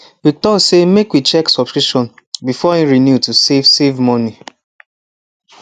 we talk say make we check subscription before e renew to save save money